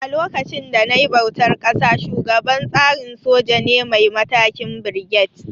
A lokacin da nayi bautar ƙasa, shugaban tsarin soja ne mai matakin Birget